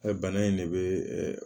bana in ne bɛ